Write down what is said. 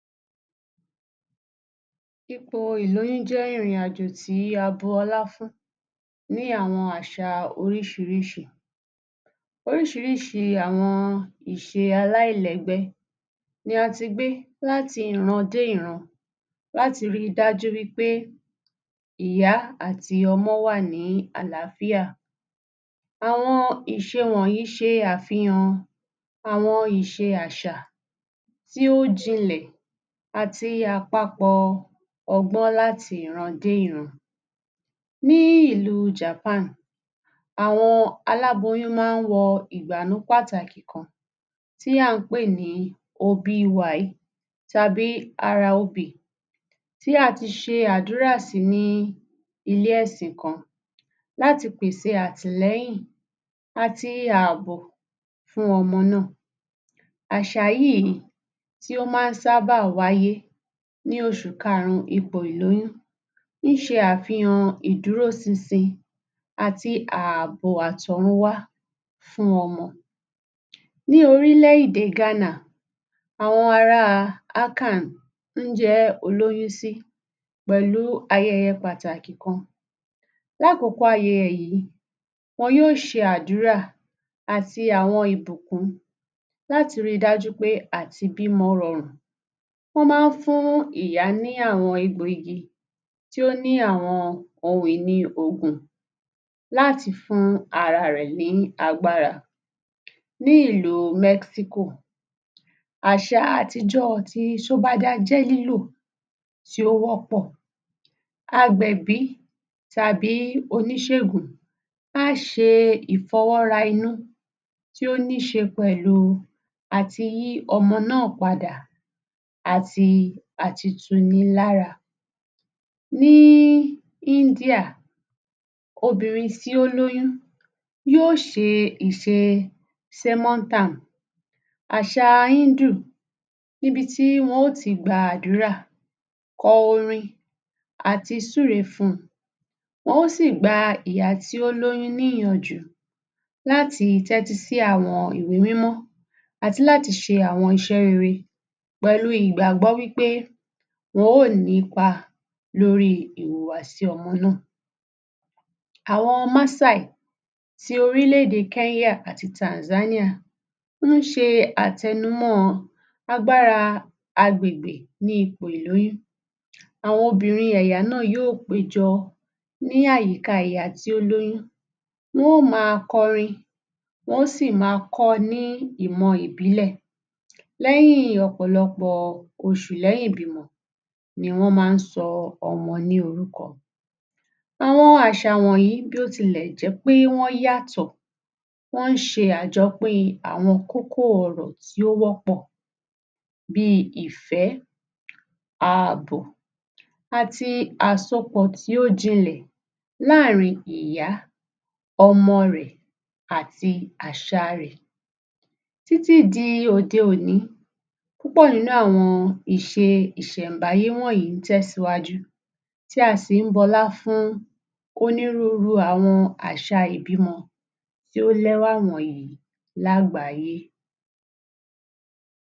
Ipò ìlóyún jẹ́ ìrìn-àjò tí a bu ọlá fún ní àwọn àṣà ooríṣiríṣi. Oríṣiríṣi àwọn ìṣe aláìlẹ́gbẹ́ ni a ti gbé láti ìran dé ìran láti ríi dájú wí pé ìyá àti ọmọ wà ní àlááfíà. Àwọn ìṣe wọ̀nyìí ṣe àfihàn àwọn ìṣe àṣà tí ó jinlẹ̀ àti àpapọ̀ ọgbọ́n láti ìran dé ìran. Ní ìlúu Japan, àwọn aláboyún máa ń wọ ìgbànú pàtàkì kan tí à ń pè ní obi iwai tàbí haraobi tí a ti ṣe àdúrà sí ní ilé-ẹ̀sìn kan láti pèsè àtìlẹ́yìn àti ààbò fún ọmọ náà. Àṣà yìí tí ó má ń sábà wáyé ní oṣù karùn-ún ipò ìlóyún ń ṣe àfihàn ìdúró sinsin àti ààbò àtọ̀runwá fún ọmọ. Ní orílẹ̀-èdè Ghana, àwọn ará Akan ń jẹ́ olóyún sí pẹ̀lú ayẹyẹ pàtàkì kan. Lákòókò ayẹyẹ yìí, wọn yó ṣe àdúrà àti àwọn ìbùkún láti ríi dájú pé àtibímọ rọrùn. Wọ́n máa ń fún ìyá ní àwọn egbò-igi tí ó ní àwọn ohun ìní òògùn láti fún ara rẹ̀ ní agbára. ní ílú Mexico, àṣà àtijọ́ ti sobada tí ó wọ́pọ̀. Agbẹ̀bí tàbí oníṣègùn á ṣe ìfọwọ́ra inú tí ó níí ṣe pẹ̀lú àti yí ọmọ náà padà, àti àti tunilára. Ní India, obìnrin tí ó lóyún yó ṣe ìṣe semontan. Àṣà Hindu níbi tí wọn ó ti gba àdúrà, kọ orin, àti, súre fún un, wọ́n ó sì gba ìyá tí ó lóyún ní ìyànjú láti tẹ́tí sí àwọn ìwé mímọ́ àti láti ṣe àwọn iṣẹ́ rere pẹ̀lú ìgbàgbọ́ wí pé wọn ó ní ipa lórí ìwhùwàsí ọmọ náà. Awọn Maasai ti orílẹ̀-èdè Kenya àti Tanzania ń ṣe àtẹnumọ́ọ agbára agbègbè ní ipò ìlóyún. Àwọn obìnrin ẹ̀yà náà yóò péjọ ní àyíká ìyá tí ó lóyún. Wọ́n ó máa kọrin, wọ́n ó sì máa kọ́ ọ ní ìmọ̀ ìbílẹ̀. Lẹ́yìn ọ̀pọ̀lọpọ̀ oṣù lẹ́yìn ìbímọ ni wọ́ máa ń sọ ọmọ ní orúkọ. Àwọn àṣà wọ̀nyìí, bí ó tilẹ̀ jẹ́ pé wọ́n yàtọ̀, wọ́n ń ṣe àjọpín àwọn kókó ọ̀rọ̀ tí ó wọ́pọ̀ bíi ìfẹ́, ààbò àti àsopọ̀ tí ó jinlẹ̀ láàrin ìyá, ọmọ rẹ̀ àti àṣà rẹ̀. Títí di òde òní, púpọ̀ nínú àwọn ìṣe ìṣẹ̀mbáyé wọ̀nyìí ń tẹ̀síwájú, tí a sì ń bu ọlá fún onírúurú àwọn àṣà ìbímọ tí ó lẹ́wà wọ̀nyìí lágbàáyé.